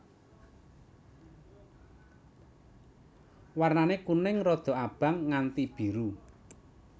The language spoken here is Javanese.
Warnané kuning rada abang nganti biru